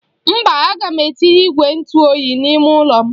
Mba, aga m etinye igwe ntụ oyi n'ime ụlọ m.